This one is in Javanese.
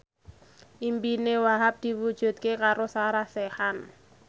impine Wahhab diwujudke karo Sarah Sechan